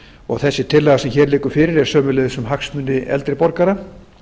og þessi tillaga sem hér liggur fyrir er sömuleiðis um hagsmuni eldri borgara